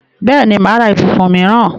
Bẹ́ẹ̀ni, mà á ra ibùsùn míìràn